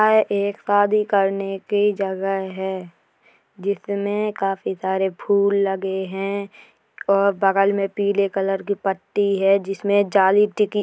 यह एक शादी करने की जगह है जिसमें काफी सारे फूल लगे हैं और बगल में पीले कलर की पट्टी है जिसमें जाली टिकी --